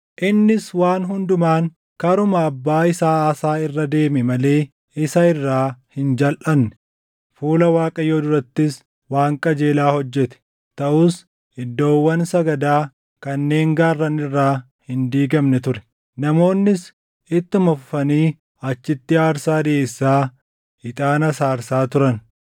Innis waan hundumaan karuma abbaa isaa Aasaa irra deeme malee isa irraa hin jalʼanne; fuula Waaqayyoo durattis waan qajeelaa hojjete. Taʼus iddoowwan sagadaa kanneen gaarran irraa hin diigamne ture; namoonnis ittuma fufanii achitti aarsaa dhiʼeessaa, ixaanas aarsaa turan.